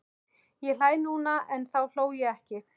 Ég hlæ núna en þá hló ég ekki.